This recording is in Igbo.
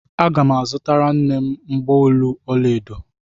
Aga m azụtara nne m mgbaolu ọla edo.